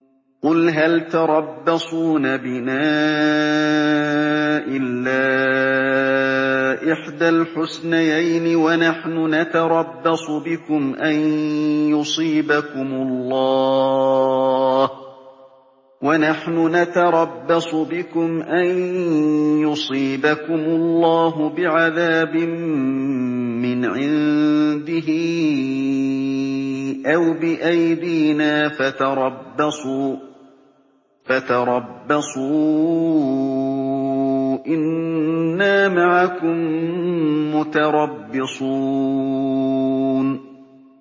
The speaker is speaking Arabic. قُلْ هَلْ تَرَبَّصُونَ بِنَا إِلَّا إِحْدَى الْحُسْنَيَيْنِ ۖ وَنَحْنُ نَتَرَبَّصُ بِكُمْ أَن يُصِيبَكُمُ اللَّهُ بِعَذَابٍ مِّنْ عِندِهِ أَوْ بِأَيْدِينَا ۖ فَتَرَبَّصُوا إِنَّا مَعَكُم مُّتَرَبِّصُونَ